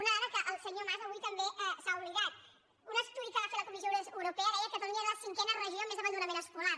una dada que el senyor mas avui també ha oblidat un estudi que va fer la comissió europea deia que catalunya era la cinquena regió amb més abandonament escolar